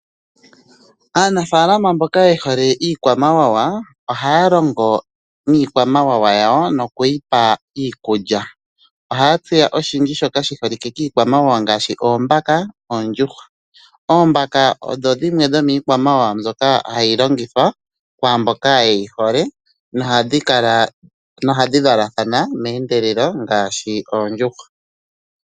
Aanafalama mboka ye hole iikwamawawa ohaya longo niikwamawawa yawo, nokuyi pa iikulya. Ohaya tseya oshindji shoka shi yolike kiikwamawawa ngaashi oombaka noondjuhwa. Oombaka odho dhimwe dhomiikwamawawa mbyoka hayi longithwa kwaamboka ye yi hole, nohadhi valathana meendelelo ngaashi oondjuhwa.